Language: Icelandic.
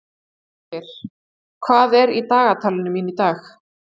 Ásgeir, hvað er í dagatalinu mínu í dag?